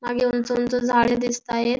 मागे उंच उंच झाडे दिसत आहेत.